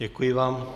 Děkuji vám.